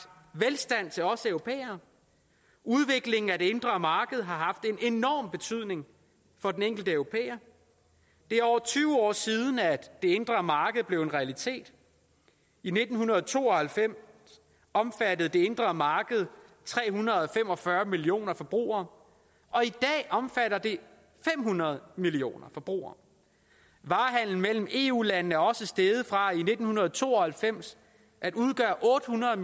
velstand til os europæere udviklingen af det indre marked har haft en enorm betydning for den enkelte europæer det er over tyve år siden at det indre marked blev en realitet i nitten to og halvfems omfattede det indre marked tre hundrede og fem og fyrre millioner forbrugere og i dag omfatter det fem hundrede millioner forbrugere varehandelen imellem eu landene er også steget fra i nitten to og halvfems at udgøre otte hundrede